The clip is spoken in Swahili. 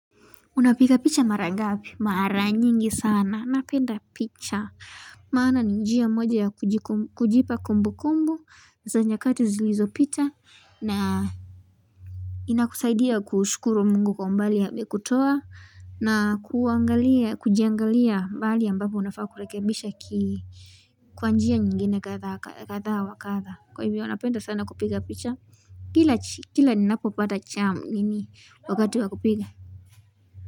Unapiga picha mara ngapi? Mara nyingi sana napenda picha maana ni njia moja ya kujipa kumbu kumbu za nyakati zilizopita na inakusaidia kushukuru mungu kwa umbali amekutoa na kuangalia kujiangalia mahali ambapo unafaa kurekebisha kwa njia nyingine kadha wa kadha kwa hivyo napenda sana kupiga picha kila ninapopata chamu nini wakati wa kupija.